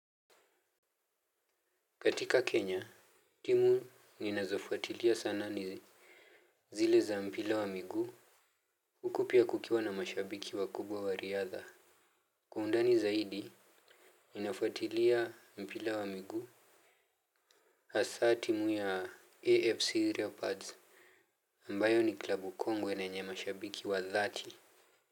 Katika Kenya, timu ninazofuatilia sana ni zile za mpira wa miguu uku pia kukiwa na mashabiki wakubwa wa riadha. Kwa undani zaidi, ninafuatilia mpira wa miguu. Hasa timu ya AFC loepards ambayo ni klabu kongwe na yenye mashabiki wa dhati.